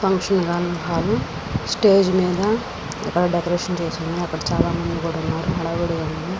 Function hall stage మీద decoration చేసారు అక్కడ చాల మంది ఉన్నారు హడావుడి గ ఉంది.